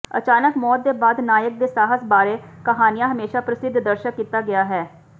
ਅਚਾਨਕ ਮੌਤ ਦੇ ਬਾਅਦ ਨਾਇਕ ਦੇ ਸਾਹਸ ਬਾਰੇ ਕਹਾਣੀਆ ਹਮੇਸ਼ਾ ਪ੍ਰਸਿੱਧ ਦਰਸ਼ਕ ਕੀਤਾ ਗਿਆ ਹੈ